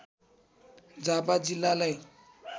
झापा जिल्लालाई